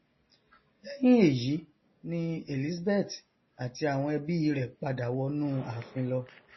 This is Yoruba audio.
lẹhìn èyí ni elizabeth àti àwọn ẹbí i rẹ padà wọnu àfin lọ